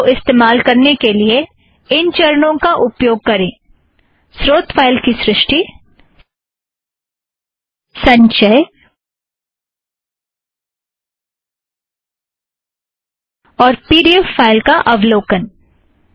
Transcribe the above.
LaTeX को उपयोग करने के लिए इन चरणों का प्रयोग करें स्रोत फ़ाइल का निर्माण संचय और पी ड़ी ऐफ़ फ़ाइल का अवलोकन